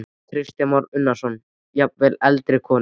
Kristján Már Unnarsson: Jafnvel eldri konur?